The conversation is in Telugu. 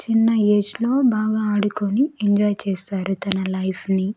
చిన్న ఏజ్ లో బాగా ఆడుకొని ఎంజాయ్ చేస్తారు తన లైఫ్ ని.